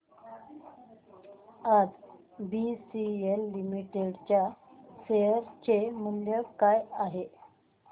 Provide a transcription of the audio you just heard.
आज BCL limited च्या share चे मूल्य काय आहे